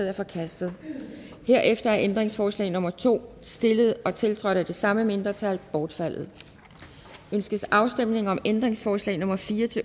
er forkastet herefter er ændringsforslag nummer to stillet og tiltrådt af de samme mindretal bortfaldet ønskes afstemning om ændringsforslag nummer fire